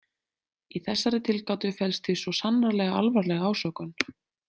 Í þessari tilgátu felst því svo sannarlega alvarleg ásökun.